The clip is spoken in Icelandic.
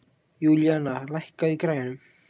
Júlíanna, lækkaðu í græjunum.